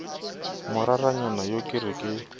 moraranyana yo ke re ke